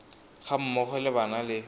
ga mmogo le bana le